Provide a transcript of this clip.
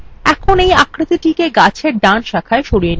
এখন এই আকৃতিটিকে গাছএর ডান শাখায় সরিয়ে নিয়ে যান